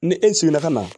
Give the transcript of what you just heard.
Ni e sigila ka na